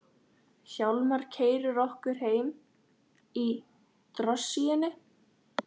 Hjálmar keyrir okkur heim í drossíunni.